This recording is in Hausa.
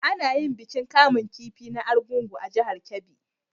A na yin bikin kamun kifi na argungu a jahar kebbi